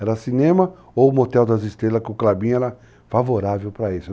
Era cinema ou motel das estrelas, que o clubinho era favorável para isso.